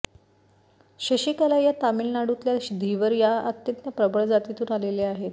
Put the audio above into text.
शशिकला या तामिळनाडूतल्या धिवर या अत्यंत प्रबळ जातीतून आलेल्या आहेत